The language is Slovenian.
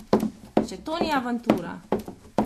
Če to ni avantura!